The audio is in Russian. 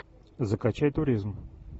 закачай туризм